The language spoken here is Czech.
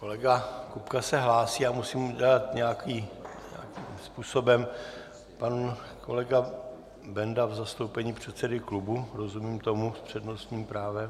Kolega Kupka se hlásí, ale musím udělat nějakým způsobem, pan kolega Benda v zastoupení předsedy klubu, rozumím tomu, s přednostním právem.